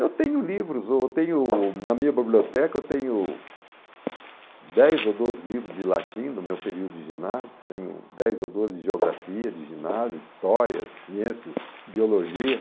Eu tenho livros, eu tenho, na minha biblioteca eu tenho dez ou doze livros de latim do meu período de ginásio, tenho dez ou doze de geografia de ginásio, histórias, ciências, biologia.